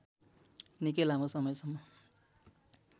निकै लामो समयसम्म